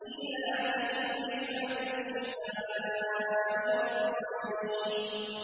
إِيلَافِهِمْ رِحْلَةَ الشِّتَاءِ وَالصَّيْفِ